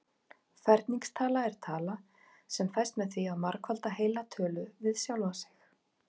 Ferningstala er tala sem fæst með því að margfalda heila tölu við sjálfa sig.